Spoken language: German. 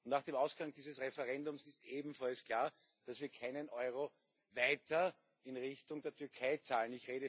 Nach dem Ausgang dieses Referendums ist ebenfalls klar, dass wir keinen Euro weiter in Richtung der Türkei zahlen.